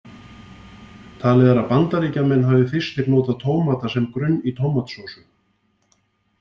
Talið er að Bandaríkjamenn hafi fyrstir notað tómata sem grunn í tómatsósu.